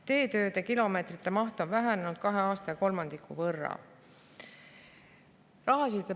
Teetööde kilomeetrite maht on kahe aastaga vähenenud kolmandiku võrra.